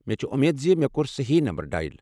مےٚ چھِ امید زِ مےٚ کوٚر صحیٖح نمبر ڈایل۔